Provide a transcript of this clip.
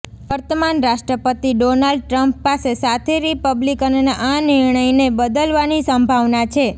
વર્તમાન રાષ્ટ્રપતિ Donald Trump પાસે સાથી રિપબ્લિકનનાં આ નિર્ણયને બદલવાની સંભાવના છે